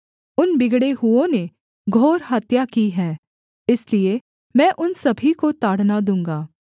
उन बिगड़े हुओं ने घोर हत्या की है इसलिए मैं उन सभी को ताड़ना दूँगा